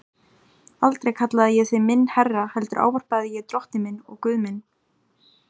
Aldrei kallaði ég þig minn herra heldur ávarpaði ég drottinn minn og Guð minn.